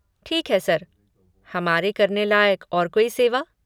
ठीक है सर, हमारे करने लायक और कोई सेवा?